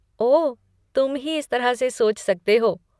ओह, तुम ही इस तरह से सोच सकते हो!